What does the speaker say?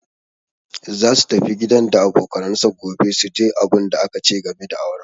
Za su tafi gidan da abokanansa gobe su ji abunda aka ce game da auransa.